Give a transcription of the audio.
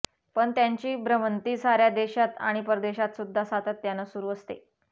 पण त्यांची भ्रमंती साऱ्या देशात आणि परदेशातसुद्धा सातत्यानं सुरू असते